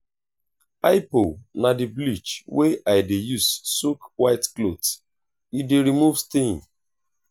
hypo na di bleach wey i dey use soak white cloth e dey remove stain.